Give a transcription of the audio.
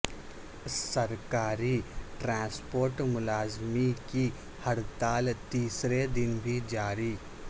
سرکاری ٹرانسپورٹ ملازمین کی ہڑتال تیسرے دن بھی جاری